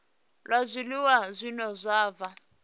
la zwiliwa zwine zwa vha